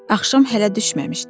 Axşam hələ düşməmişdi.